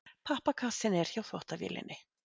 Pappakassinn er hjá þvottavélinni.